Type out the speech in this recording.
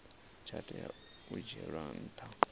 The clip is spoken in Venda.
tsha tea u dzhielwa nha